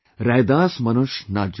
रैदास मनुष ना जुड़ सके